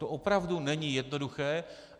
To opravdu není jednoduché.